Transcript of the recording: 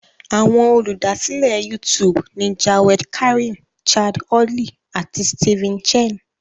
Àwọn Olùdásílẹ̀ YouTube ni Jawed Karim, Chad Hurley, àti Steven Chen.